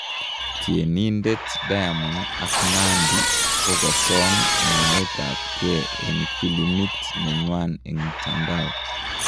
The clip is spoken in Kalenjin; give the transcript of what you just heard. Tienditet diamond ak Nandi kokosam nyoet ap ng'e en filimbit nenywan en mitsndao